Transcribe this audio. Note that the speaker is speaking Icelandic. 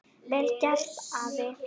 Vel gert, afi.